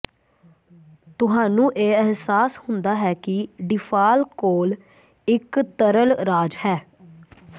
ਤੁਹਾਨੂੰ ਇਹ ਅਹਿਸਾਸ ਹੁੰਦਾ ਹੈ ਕਿ ਡੀਫਾਲ ਕੋਲ ਇਕ ਤਰਲ ਰਾਜ ਹੈ